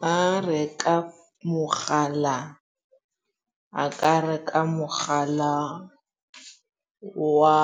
Ba reka mogala a ka reka mogala wa